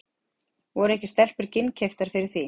Voru ekki stelpur ginnkeyptari fyrir því?